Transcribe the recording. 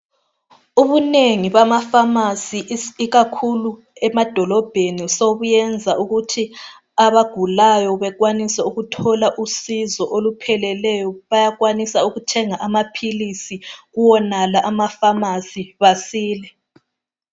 Ubunengi bamafamasi ikakhulu emadolobheni ,sokuyenza ukuthi abagulayo bekwanise ukuthola usizo olupheleleyo. Bayakwanisa ukuthenga amaphilisi kuwonala amafamasi basile.